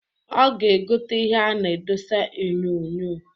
Ọ ga-egota ihe a na-adosa onyoonyoo.